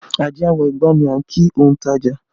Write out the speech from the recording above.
Ajé a Wọ́ igbá ni a ń kí ontaja